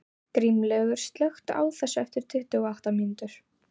Grímlaugur, slökktu á þessu eftir tuttugu og átta mínútur.